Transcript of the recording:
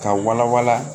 Ka wala wala